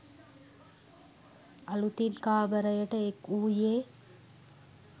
අලුතින් කාමරයට එක් වූයේ